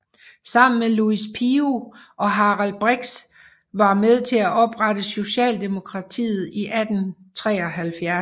Sammen med Louis Pio og Harald Brix var med til at oprette Socialdemokratiet i 1873